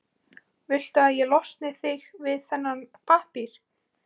Viltu að ég losi þig við þennan pappír?